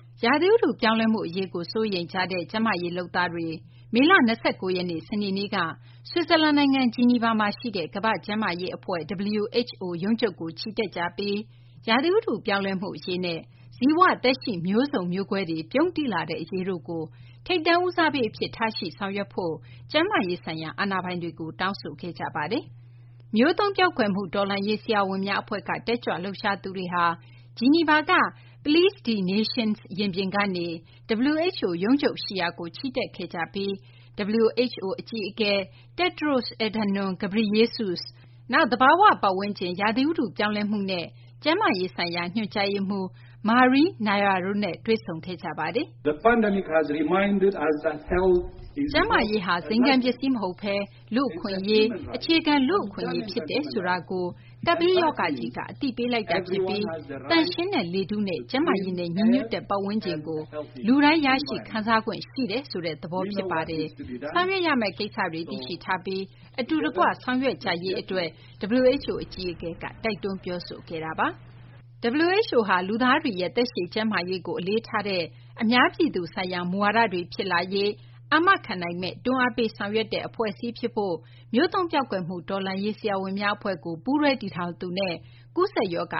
ရာသီဥတုပြောင်းလဲမှု အရေးကို စိုးရိမ်ကြတဲ့ ကျန်းမာရေးလုပ်သားတွေ မေလ ၂၉ ရက်နေ့ စနေနေ့က ဆွစ်ဇာလန်နိုင်ငံ ဂျီနီဗာမှာရှိတဲ့ ကမ္ဘာ့ကျန်းမာရေးအဖွဲ့ ရုံးချုပ်ကို ချီတက်ကြပြီး ရာသီဥတုပြောင်းလဲမှု အရေးနဲ့ ဇီဝသက်ရှိ မျိုးစုံ မျိုးကွဲတွေ ပြုန်းတီးလာတဲ့ အရေးတို့ကို ထိပ်တန်းဦးစားပေးအဖြစ် ထားရှိ ဆောင်ရွက်ဖို့ ကျန်းမာရေးဆိုင်ရာ အာဏာပိုင်တွေကို တောင်းဆိုခဲ့ကြပါတယ်။ မျိုးသုဉ်းပျောက်ကွယ်မှု တော်လှန်ရေး ဆရာဝန်များအဖွဲ့က တက်ကြွလှုပ်ရှားသူတွေဟာ ဂျီနီဗာက Place des Nations ရင်ပြင်ကနေ WHO ရုံးချုပ်ရှိရာကို ချီတက်ခဲ့ကြပြီး WHO အကြီးအကဲ Tedros Adhanom Ghebreyesus၊ နောက် သဘာဝပတ်ဝန်းကျင် ရာသီဥတု ပြောင်းလဲမှုနဲ့ ကျန်းမာရေးဆိုင်ရာ ညွှန်ကြားရေးမှူး Maria Neira တို့နဲ့ တွေ့ဆုံခဲ့ပါတယ်။ WHO အကြီးအကဲက ချီတက်လာတဲ့ တက်ကြွလှုပ်ရှားသူတွေကို ကြိုဆိုခဲ့ပါတယ်။ “ကျန်းမာရေးဟာ ဇိမ်ခံပစ္စည်းမဟုတ်ဘဲ လူ့အခွင့်အရေး၊ အခြေခံလူ့အခွင့်အရေး ဖြစ်တယ်ဆိုတာကို ကပ်ဘေးရောဂါကြီးက အသိပေးလိုက်တာဖြစ်ပြီး သန့်ရှင်းတဲ့ လေထုနဲ့ ကျန်းမာရေးနဲ့ ညီညွတ်တဲ့ ပတ်ဝန်းကျင်ကို လူတိုင်း ရရှိခံစားခွင့် ရှိတယ်ဆိုတဲ့ သဘော ဖြစ်ပါတယ်။ ဆောင်ရွက်ရမယ့် ကိစ္စတွေကို သိရှိထားပြီး အတူတကွ ဆောင်ရွက်ကြရေးအတွက်” WHO အကြီးအကဲက တိုက်တွန်း ပြောဆိုခဲ့တာပါ။ WHO ဟာ လူသားတွေရဲ့ သက်ရှည်ကျန်းမာရေးကို အလေးထားတဲ့ အများပြည်သူဆိုင်ရာ မူဝါဒတွေ ဖြစ်လာရေး အာမခံနိုင်မယ့် တွန်းအားပေး ဆောင်ရွက်တဲ့ အဖွဲ့အစည်းဖြစ်ဖို့ မျိုးသုဉ်းပျောက်ကွယ်မှု တော်လှန်ရေး ဆရာဝန်များ အဖွဲ့ကို ပူးတွဲတည်ထောင်သူနဲ့ ကူးစက်ရောဂ